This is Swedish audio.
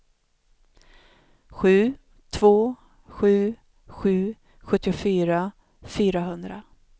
sju två sju sju sjuttiofyra fyrahundra